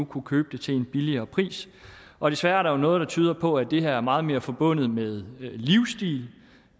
kunne købe det til en billigere pris og desværre er der jo noget tyder på at det her er meget mere forbundet med livsstil